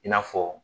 I n'a fɔ